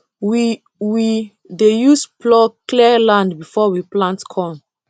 we we dey use plough clear land before we plant corn